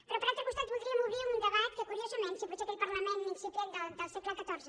però per altre costat voldríem obrir un debat que curiosament si potser aquell parlament incipient del segle xiv